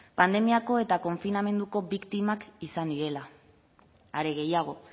pandemiako eta konfinamenduko biktimak izan direla are gehiago